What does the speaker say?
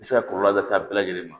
bɛ se ka kɔlɔlɔ lase a bɛɛ lajɛ ma